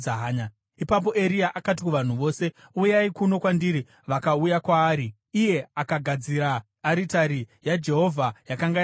Ipapo Eria akati kuvanhu vose, “Uyai kuno kwandiri.” Vakauya kwaari, iye akagadzira aritari yaJehovha yakanga yaputswa.